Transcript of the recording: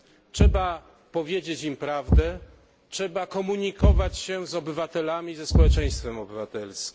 Trzeba powiedzieć im prawdę, trzeba komunikować się z obywatelami, ze społeczeństwem obywatelskim.